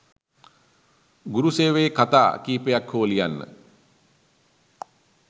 ගුරු සේවයේ කතා කීපයක් හෝ ලියන්න.